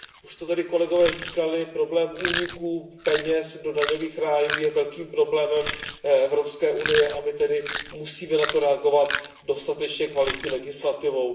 Už to tady kolegové říkali, problém úniku peněz do daňových rájů je velkým problémem EU a my tedy musíme na to reagovat dostatečně kvalitní legislativou.